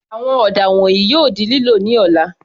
Àwọn ọ̀dà wọ̀nyìí yóò di lílò ní ọ̀la.